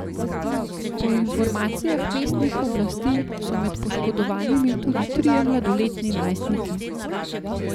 Po informacijah mestnih oblasti so med poškodovanimi tudi trije mladoletni najstniki.